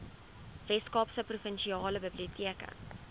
weskaapse provinsiale biblioteke